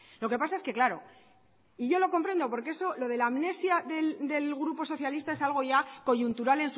lo que pasa es que claro y yo lo comprendo porque eso lo de la amnesia del grupo socialista es algo ya coyuntural